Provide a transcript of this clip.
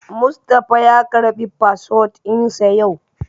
Mustapha ya karɓi fasfot ɗin sa yau